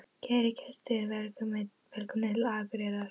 Kæru gestir! Velkomnir til Akureyrar.